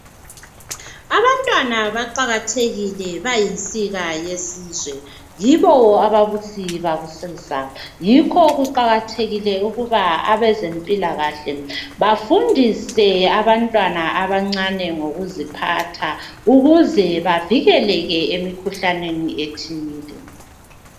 Abantwana baqakathekile bayinsika yesizwe. Yibo ababusi bakusasa yikho kuqakathekilee ukuba abezempilakahle bafundise abantwana abancane ngokuziphatha ukuze bavikeleke emikhuhlaneni ethile.